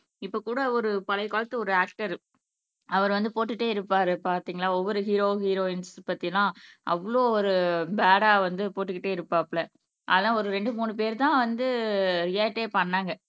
இப்ப கூட ஒரு பழைய காலத்து ஒரு ஆக்டர் அவரு வந்து போட்டுட்டே இருப்பாரு பாத்தீங்களா ஒவ்வொரு ஹீரோ ஹீரோயின்ஸ் பத்தி எல்லாம் அவ்ளோ ஒரு பேடா வந்து போட்டுக்கிட்டே இருப்பாப்புல அதெல்லாம் ஒரு ரெண்டு மூணு பேர் தான் வந்து ரியாக்டே பண்ணாங்க